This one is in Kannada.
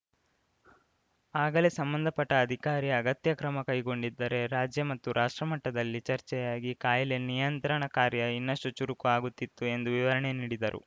ಆಗಲೇ ಸಂಬಂಧಪಟ್ಟಅಧಿಕಾರಿ ಅಗತ್ಯ ಕ್ರಮ ಕೈಗೊಂಡಿದ್ದರೆ ರಾಜ್ಯ ಮತ್ತು ರಾಷ್ಟ್ರಮಟ್ಟದಲ್ಲಿ ಚರ್ಚೆಯಾಗಿ ಕಾಯಿಲೆ ನಿಯಂತ್ರಣ ಕಾರ್ಯ ಇನ್ನಷ್ಟುಚುರುಕು ಆಗುತ್ತಿತ್ತು ಎಂದು ವಿವರಣೆ ನೀಡಿದರು